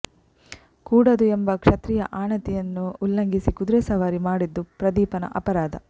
ಕೂಡದು ಎಂಬ ಕ್ಷತ್ರಿಯ ಆಣತಿಯನ್ನು ಉಲ್ಲಂಘಿಸಿ ಕುದುರೆ ಸವಾರಿ ಮಾಡಿದ್ದು ಪ್ರದೀಪನ ಅಪರಾಧ